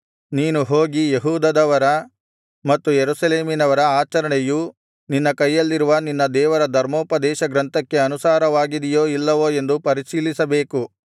ನೀನು ಹೋಗಿ ಯೆಹೂದದವರ ಮತ್ತು ಯೆರೂಸಲೇಮಿನವರ ಆಚರಣೆಯು ನಿನ್ನ ಕೈಯಲ್ಲಿರುವ ನಿನ್ನ ದೇವರ ಧರ್ಮೋಪದೇಶಗ್ರಂಥಕ್ಕೆ ಅನುಸಾರವಾಗಿದೆಯೋ ಇಲ್ಲವೋ ಎಂದು ಪರಿಶೀಲಿಸಬೇಕು